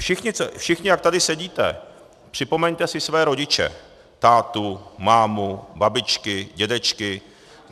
Všichni, jak tady sedíte, připomeňte si své rodiče - tátu, mámu, babičky, dědečky.